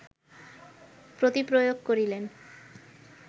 প্রতিপ্রয়োগ করিলেন